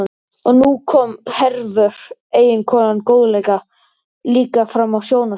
Og nú kom Hervör, eiginkonan góðlega, líka fram á sjónarsviðið.